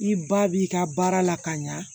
I ba b'i ka baara la ka ɲa